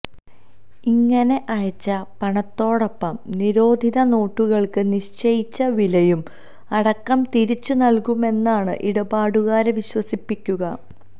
ഇങ്ങനെ അയച്ച പണത്തോടൊപ്പം നിരോധിത നോട്ടുകൾക്ക് നിശ്ചയിച്ച വിലയും അടക്കം തിരിച്ച് നൽകുമെന്നാണ് ഇടപാടുകാരെ വിശ്വസിപ്പിക്കുക